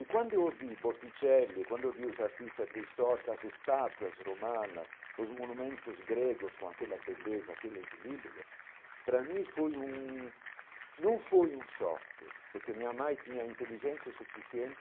E quando eu ouvi borticelli, quando eu vi os artistas pré-históricos, as estátuas, romanas, os monumentos gregos com aquela beleza, aquele equilíbrio, para mim foi um não foi um choque, porque minha mãe tinha inteligência suficiente